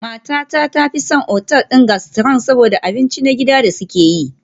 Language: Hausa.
Matata ta fi son otal ɗin gastro saboda abinci na gida da suke yi.